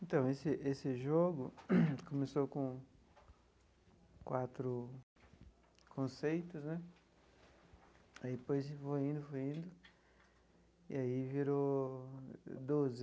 Então, esse esse jogo começou com quatro conceitos né, aí depois foi indo, foi indo, e aí virou doze.